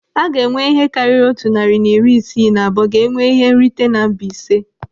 Aga enwe ihe karịrị otu narị na iri isii na abụọ ga-enwe ihe nrite na Mbaise.